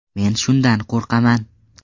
Men shundan qo‘rqaman.